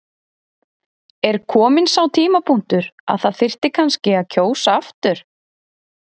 Er kominn sá tímapunktur að það þyrfti kannski að kjósa aftur?